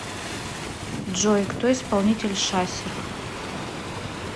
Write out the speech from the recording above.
джой кто исполнитель шасер